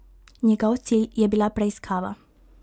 Njegov cilj je bila preiskava.